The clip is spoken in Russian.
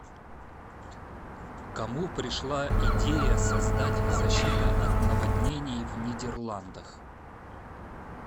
кому пришла идея создать защита от наводнений в нидерландах